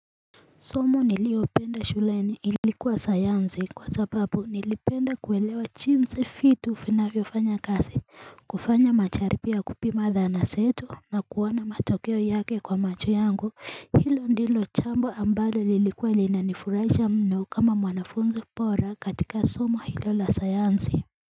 Somo niliolipenda shuleni ilikuwa sayansi kwa sababu nilipenda kuelewa jinsi vitu vinavyo fanya kazi kufanya majaribio ya kupima dhana zetu na kuona matokeo yake kwa macho yangu. Hilo ndilo jambo ambalo lilikuwa linanifurahisha mno kama mwanafunzi bora katika somo hilo la sayansi.